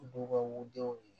B'u ka u denw ye